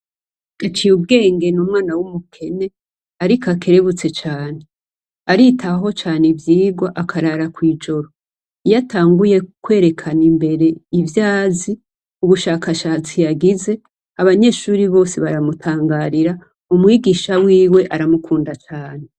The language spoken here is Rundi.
Gaciyubwenge n'umwana w'umukene ariko akerebutse cane. Aritaho cane ivyigwa akarara kw'ijoro, iyo atanguye kwerekana imbere ivyazi, ubushakashatsi yagize abanyeshure bose baramutangarira, umwigisha wiwe aramikunda cane!